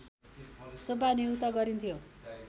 सुब्बा नियुक्त गरिन्थ्यो